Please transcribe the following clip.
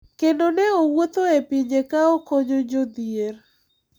Kendo ne owuotho e pinje ka okonyo jodhier.